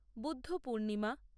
Buddha Purnima